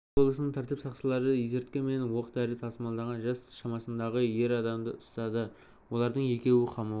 алматы облысының тәртіп сақшылары есірткі мен оқ-дәрі тасымалдаған жас шамасындағы ер адамды ұстады олардың екеуі қамауға